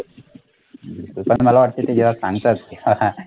ते पण मला वाटते ते जेव्हा सांगतात